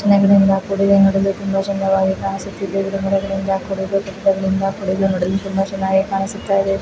ಚಿನ್ನಗಿಡಗಳಿಂದ ಕೂಡಿದ್ದು ನೋಡಲು ತುಂಬಾ ಸುಂದರವಾಗಿ ಕಾಣಿಸುತ್ತಿದೆ. ಗಿಡ ಮರಗಳಿಂದ ಕೂಡಿದ್ದು ಕಟ್ಟಡಗಳಿಂದ ಕೂಡಿದ್ದು ನೋಡಲು ತುಂಬಾ ಚೆನ್ನಾಗಿ ಕಾಣಿಸುತ್ತಾಯಿದೆ.